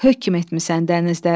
hökm etmisən dənizlərə.